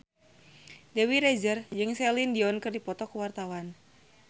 Dewi Rezer jeung Celine Dion keur dipoto ku wartawan